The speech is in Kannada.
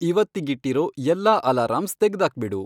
ಇವತ್ತಿಗಿಟ್ಟಿರೋ ಎಲ್ಲಾ ಅಲಾರಂಸ್ ತೆಗ್ದಾಕ್ಬಿಡು